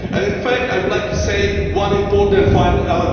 In fact, I would like to say one important final thing.